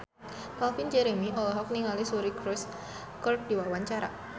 Calvin Jeremy olohok ningali Suri Cruise keur diwawancara